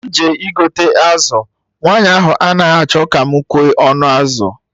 M jee igote azụ, nwaanyị ahụ anaghị achọ ka mụ kwee ọnụ azụ